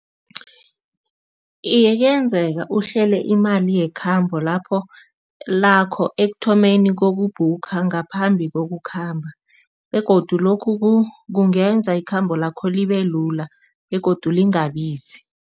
Iye, kuyenzeka uhlele imali yekhambo lapho lakho ekuthomeni kokubhukha, ngaphambi kokukhamba begodu lokhu kungenza ikhambo lakho libelula begodu lingabizi.